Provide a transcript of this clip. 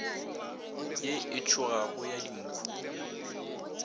ye e tšhogago ya dinkhu